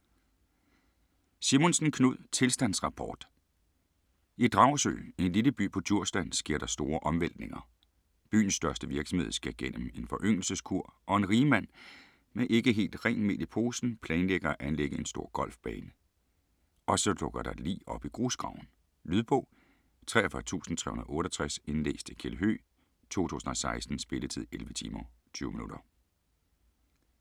Simonsen, Knud: Tilstandsrapport I Dragsø, en lille by på Djursland, sker der store omvæltninger. Byens største virksomhed skal gennem en foryngelseskur og en rigmand (med ikke helt rent mel i posen) planlægger at anlægge en stor golfbane. Og så dukker der et lig op i grusgraven. Lydbog 43368 Indlæst af Kjeld Høegh, 2016. Spilletid: 11 timer, 20 minutter.